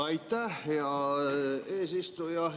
Aitäh, hea eesistuja!